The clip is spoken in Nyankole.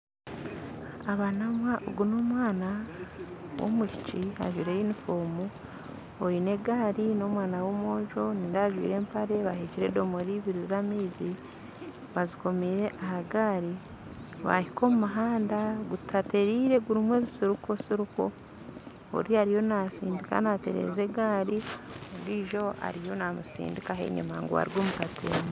Ogu n'omwana w'omwishiki ajwaire yunifoomu oine egaari n'omwana w'omwojo nindeeba ajwaire empare baheekire edomora ibiri z'amaizi bazikomire aha gaari baahika omu muhanda gutatereire gurimu ebisiriko oriya ariyo naatsindika naatereza egaari ondiijo ariyo naamutsindikaho enyima ngu arugye aha katembo.